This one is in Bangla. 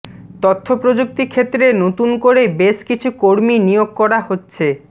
তথ্যপ্রযুক্তি ক্ষেত্রে নতুন করে বেশ কিছু কর্মী নিয়োগ করা হচ্ছে